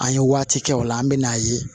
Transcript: An ye waati kɛ o la an bɛ n'a ye